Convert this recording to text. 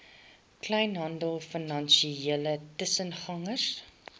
kleinhandel finansiële tussengangers